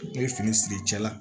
Ne ye fini siri cɛ la